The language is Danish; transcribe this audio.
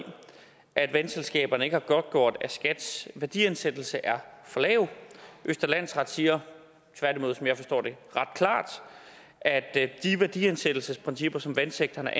at vandselskaberne ikke har godtgjort at skats værdiansættelse er for lav østre landsret siger tværtimod som jeg forstår det ret klart at at de værdiansættelsesprincipper som vandsektoren